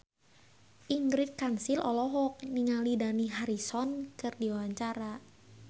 Ingrid Kansil olohok ningali Dani Harrison keur diwawancara